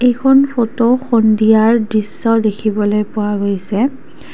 এইখন ফটো সন্ধিয়াৰ দৃশ্য দেখিবলৈ পোৱা গৈছে।